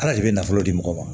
Ala de bɛ nafolo di mɔgɔ ma